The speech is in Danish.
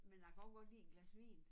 Men jeg kan også godt lide et glas vin